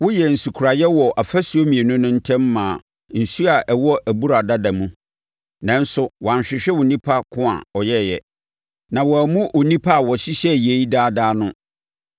Woyɛɛ nsukoraeɛ wɔ afasuo mmienu no ntam maa nsuo a ɛwɔ Abura Dada mu, nanso woanhwehwɛ Onipa ko a ɔyɛeɛ, na woammu Onipa a ɔhyehyɛeɛ yei adaadaa no.